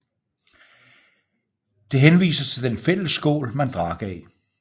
Det henviser til den fælles skål man drak af